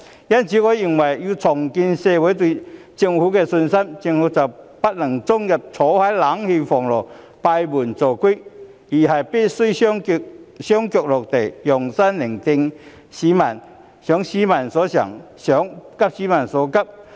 因此，要重建社會對政府的信心，我認為政府不能終日坐在冷氣房間內閉門造車，而是必須雙腳貼地，用心聆聽民意，想市民所想，急市民所急。